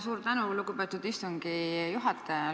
Suur tänu, lugupeetud istungi juhataja!